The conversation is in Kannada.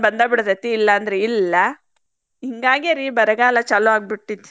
ಬಂದ್ ಬಿಡ್ತೇತಿ ಇಲ್ಲಂದ್ರ ಇಲ್ಲಾ. ಹಿಂಗಾಗೆ ರೀ ಬರಗಾಲ ಚಾಲೂ ಆಗಿಬಿಡ್ತೇತಿ.